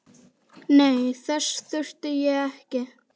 Nei, þess þurfti ég ekki.